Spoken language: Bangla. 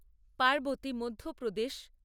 পার্বতী মধ্যপ্রদেশ